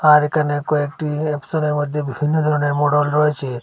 আর এখানে কয়েকটি মধ্যে বিভিন্ন ধরনের মোডল রয়েছে।